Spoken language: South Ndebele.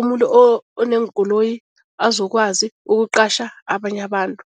umuntu oneenkoloyi azokwazi ukuqatjha abanye abantu.